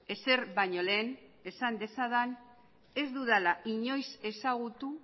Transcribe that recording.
ezer baino lehen esan dezadan ez dudala inoiz ezagutu